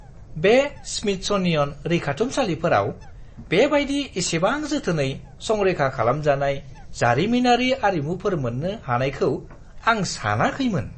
बे स्मिथस'नियन रैखाथुमसालिफोराव बेबायदि इसेबां जोथोनै संरैखा खालामजानाय जारिमिनारि आरिमुफोर मोन्नो हानायखौ आं सानाखैमोन।